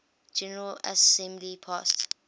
general assembly passed